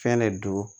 Fɛn de don